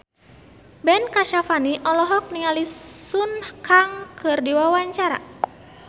Ben Kasyafani olohok ningali Sun Kang keur diwawancara